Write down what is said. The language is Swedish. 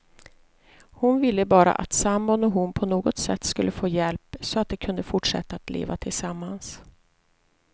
Hon ville bara att sambon och hon på något sätt skulle få hjälp, så att de kunde fortsätta att leva tillsammans.